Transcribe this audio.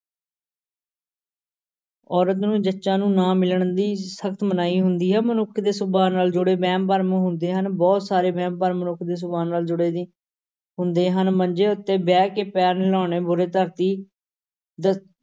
ਔਰਤ ਨੂੰ ਜੱਚਾ ਨੂੰ ਨਾ ਮਿਲਣ ਦੀ ਸਖ਼ਤ ਮਨਾਹੀ ਹੁੰਦੀ ਹੈ, ਮਨੁੱਖ ਦੇ ਸੁਭਾ ਨਾਲ ਜੁੜੇ ਵਹਿਮ ਭਰਮ ਹੁੰਦੇ ਹਨ, ਬਹੁਤ ਸਾਰੇ ਵਹਿਮ-ਭਰਮ ਮਨੁੱਖ ਦੇ ਸੁਭਾ ਨਾਲ ਜੁੜੇ ਵੀ ਹੁੰਦੇ ਹਨ, ਮੰਜੇ ਉੱਤੇ ਬਹਿ ਕੇ ਪੈਰ ਹਿਲਾਉਣੇ ਦ~